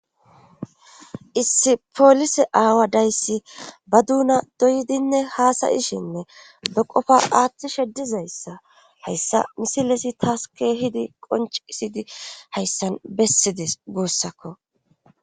Issi polise aawa dayssi ba duuna doydinne haasayishenne be qofa aaththi sheddizayssa hayssa misilesi taaske hidi qoncisidi hayssan bessides guussakko.